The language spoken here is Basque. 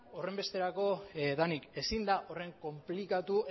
horren besterako denik ezin da horren konplikatu